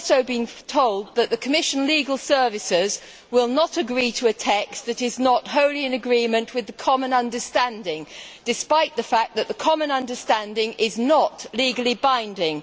We have also been told that the Commission Legal Services will not agree to a text that is not wholly in accord with the common understanding, even though the common understanding is not legally binding.